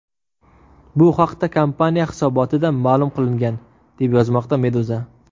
Bu haqda kompaniya hisobotida ma’lum qilingan, deb yozmoqda Meduza.